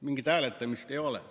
Mingit hääletamist ei ole.